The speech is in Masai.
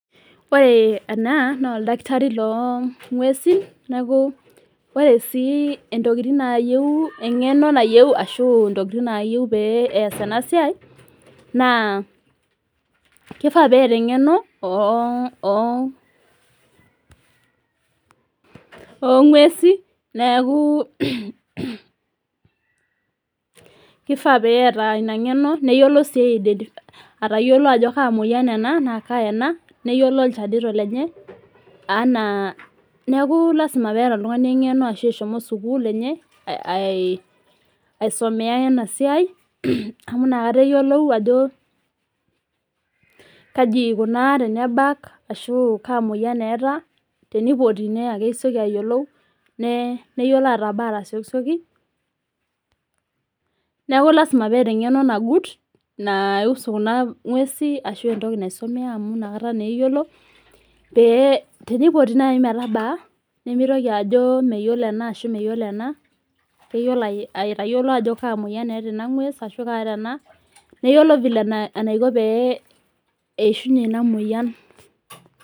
Ore enaa naa ildakitari loo ng'uesin neeku ore sii intokin nayeu eng'eno nayeu ashu intokitin nayeu pee ees ena siai naa keifaa pee eeta eng'eno oo ng'uesin neeku keifaa pee eta ina ngeno neyiolo sii atayiolo ajo kaa moyian ena naa kaa eda neyiolo ilchanito lenye anaa neeku lasima pee eta oltung'ani eng'eno ashu eshomo sukul enye aisomea ena siai amu inakata eyolou ajo kaji ikuuna tenabaka ashu kaa moyian etaa tenipoti naa kesioki ayalolou neyiolo atabaa atasiokisioki. Neeku lasima peeta eng'eno nagut nai husu kuna nguesin ashu entoki naisomea anu inakata naa eyiolo pee tenipoti naji metabaa nemitoki ajo meyiolo ena ashu meyiolo ena keyiolo atayiolo ajo kaa moyian eta ena ng'ues ashu kaa eta ena neyilo vile enaiko pee eishunye ina moyian.